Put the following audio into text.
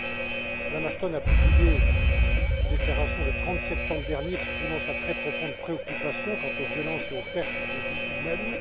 Mme Ashton a publié une déclaration, le 30 septembre dernier, exprimant sa très profonde préoccupation quant aux violences et aux pertes de vies humaines.